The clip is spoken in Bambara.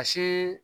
A si